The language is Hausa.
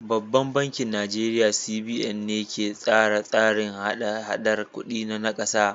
Babban bankin Najeriya CBN ne ke tsara tsarin hada-hadar kuɗi na ƙasar.